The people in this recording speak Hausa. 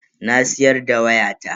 Na siyar da wayata.